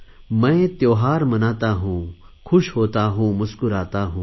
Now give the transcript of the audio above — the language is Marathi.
मैं त्योहार मनाता हूँ ख़ुश होता हूँ मुस्कुराता हूँ